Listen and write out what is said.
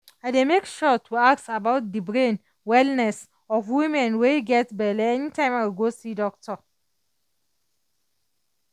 i dey make sure to ask about de brain wellness of women wey get belle anytime i go see doctor